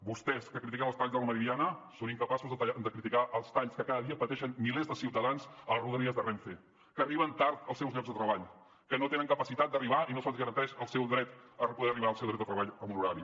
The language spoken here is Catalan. vostès que critiquen els talls de la meridiana són incapaços de criticar els talls que cada dia pateixen milers de ciutadans a les rodalies de renfe que arriben tard als seus llocs de treball que no tenen capacitat d’arribar i no se’ls garanteix el seu dret a poder arribar al seu lloc de treball en un horari